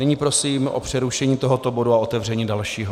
Nyní prosím o přerušení tohoto bodu a otevření dalšího.